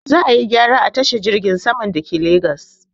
Za ayi gyara a tashar jirgin sama dake legas